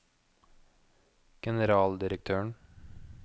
generaldirektøren